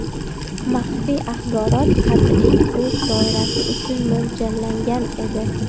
Maxfiy axborot qat’iy o‘z doirasi uchun mo‘ljallangan edi.